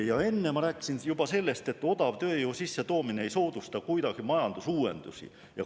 Ja enne ma juba rääkisin sellest, et odavtööjõu sissetoomine ei soodusta kuidagi majandusuuendusi.